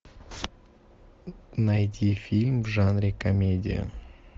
найти фильм в жанре комедия